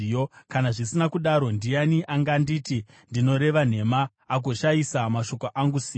“Kana zvisina kudaro, ndiani anganditi ndinoreva nhema, agoshayisa mashoko angu simba?”